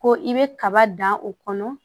Ko i bɛ kaba dan o kɔnɔ